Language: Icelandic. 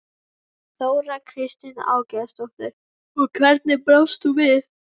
Þóra Kristín Ásgeirsdóttir: Og hvernig brást þú við?